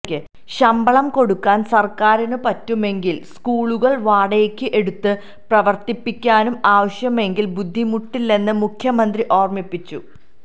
ശമ്പളം കൊടുക്കാൻ സര്ക്കാരിന് പറ്റുമെങ്കിൽ സ്കൂളുകൾ വാടകക്ക് എടുത്ത് പ്രവര്ത്തിപ്പിക്കാനും ആവശ്യമെങ്കിൽ ബുദ്ധിമുട്ടില്ലെന്ന് മുഖ്യമന്ത്രി ഓര്മ്മിപ്പിച്ചു